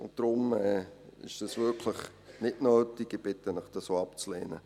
Deshalb ist dies wirklich nicht nötig, und ich bitte Sie, dies auch abzulehnen.